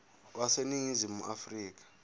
wase ningizimu afrika